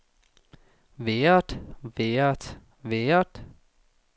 været været været